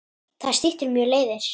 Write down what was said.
Það styttir mjög leiðir.